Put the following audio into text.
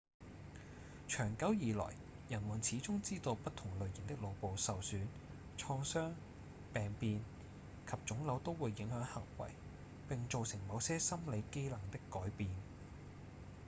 長久以來人們始終知道不同類型的腦部受損、創傷、病變及腫瘤都會影響行為並造成某些心理機能的改變